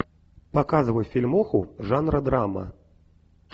показывай фильмуху жанра драма